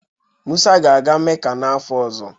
Musa ga-aga Mecca n'afọ ọzọ